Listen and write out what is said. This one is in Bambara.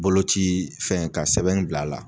Bolocii fɛn ka sɛbɛnni bil'a la